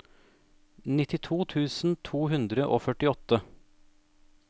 nittito tusen to hundre og førtiåtte